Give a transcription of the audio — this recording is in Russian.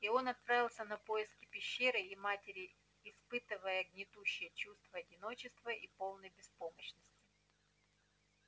и он отправился на поиски пещеры и матери испытывая гнетущее чувство одиночества и полной беспомощности